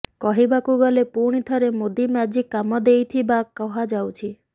କହିବାକୁ ଗଲେ ପୁଣି ଥରେ ମୋଦି ମ୍ୟାଜିକ କାମ ଦେଇଥିବା କୁହାଯାଉଛି